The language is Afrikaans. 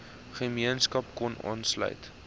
gemeenskap kon aanlsuit